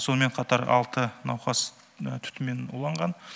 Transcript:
сонымен қатар алты науқас түтінмен уланған